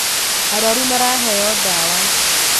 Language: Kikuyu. Arwaru maraheo ndawa